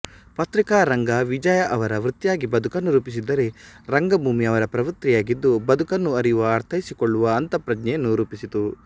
ಪತ್ರಿಕಾರಂಗ ವಿಜಯಾ ಅವರ ವೃತ್ತಿಯಾಗಿ ಬದುಕನ್ನು ರೂಪಿಸಿದ್ದರೆ ರಂಗಭೂಮಿ ಅವರ ಪ್ರವೃತ್ತಿಯಾಗಿದ್ದು ಬದಕನ್ನು ಅರಿಯುವ ಅರ್ಥೈಸಿಕೊಳ್ಳುವ ಅಂತಃಪ್ರಜ್ಞೆಯನ್ನು ರೂಪಿಸಿತು